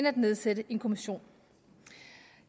at nedsætte en kommission